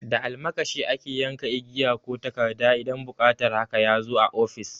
Da almakashi ake yanka igiya ko takarda in buƙatar haka ya zo a ofis.